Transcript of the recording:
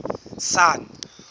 sun